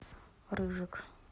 рыжик